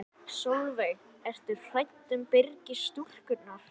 Sólveig: Ertu hrædd um Byrgis-stúlkurnar?